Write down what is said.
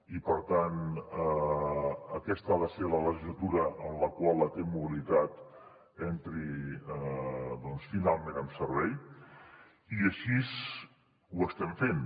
i per tant aquesta ha de ser la legislatura en la qual la t mobilitat entri finalment en servei i així ho estem fent